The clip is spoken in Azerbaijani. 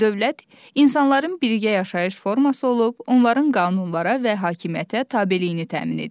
Dövlət insanların birgə yaşayış forması olub, onların qanunlara və hakimiyyətə tabeiliyini təmin edir.